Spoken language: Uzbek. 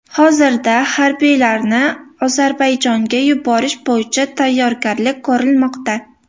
Hozirda harbiylarni Ozarbayjonga yuborish bo‘yicha tayyorgarliklar ko‘rilmoqda.